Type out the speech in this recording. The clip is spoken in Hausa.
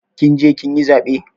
Kin je kin yi zaɓe?